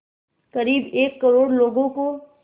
क़रीब एक करोड़ लोगों को